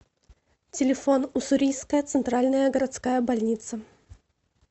телефон уссурийская центральная городская больница